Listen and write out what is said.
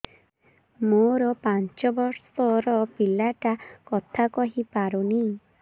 ମୋର ପାଞ୍ଚ ଵର୍ଷ ର ପିଲା ଟା କଥା କହି ପାରୁନି